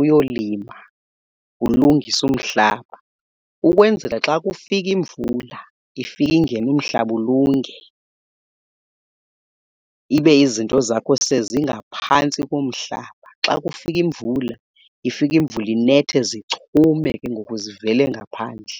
uyolima ulungise umhlaba ukwenzela xa kufika imvula ifika ingena umhlaba ulunge, ibe izinto zakho sezingaphantsi komhlaba. Xa kufika imvula, ifika imvula inethe, zichume ke ngoku zivele ngaphandle.